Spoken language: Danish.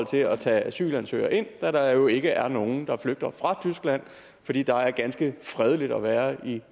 til at tage asylansøgere ind da der jo ikke er nogen der flygter fra tyskland fordi der er ganske fredeligt at være i